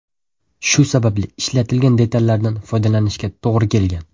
Shu sababli ishlatilgan detallardan foydalanishga to‘g‘ri kelgan.